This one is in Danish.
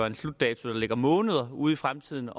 en slutdato der ligger måneder ud i fremtiden